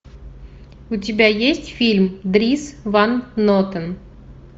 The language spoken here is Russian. у тебя есть фильм дрис ван нотен